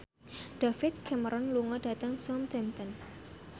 David Cameron lunga dhateng Southampton